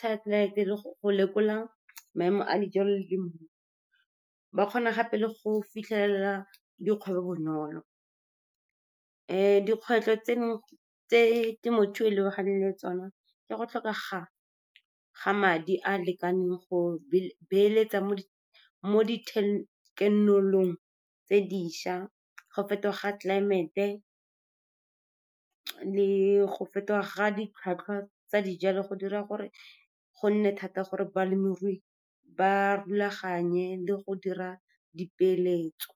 satellite, le go lekola maemo a dijalo . Ba kgona gape le go fitlhelela dikgwebo bonolo. Dikgwetlho tse dingwe tse temothuo e lebaganeng le tsone ke go tlhokega ga madi a a lekaneng go beeletsa mo tse dišwa, go fetoga ga tlelaemete, le go fetoga ga ditlhwatlhwa tsa dijalo go dira gore go nne thata gore balemirui ba rulaganye le go dira dipeeletso.